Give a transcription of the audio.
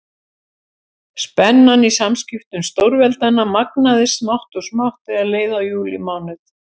Spennan í samskiptum stórveldanna magnaðist smátt og smátt þegar leið á júlímánuð.